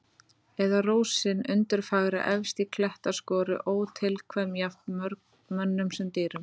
Eða rósin undurfagra efst í klettaskoru, ótilkvæm jafnt mönnum sem dýrum.